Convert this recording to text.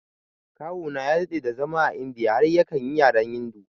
Kawuna ya daɗe da zama a India har yakan yi yaren Hindu